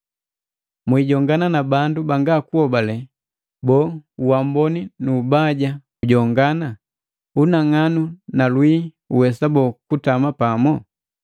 Mwijongana na bandu banga kuhobale. Boo, uamboni nu ubaja ujongana? Unang'anu na lwii uwesa bo kutama pamo?